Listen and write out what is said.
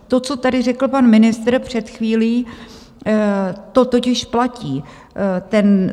To, co tady řekl pan ministr před chvílí, to totiž platí.